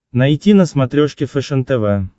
найти на смотрешке фэшен тв